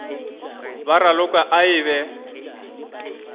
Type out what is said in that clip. ba raloka a e be